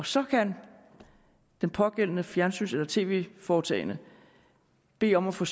så kan det pågældende fjernsyns eller tv foretagende bede om at få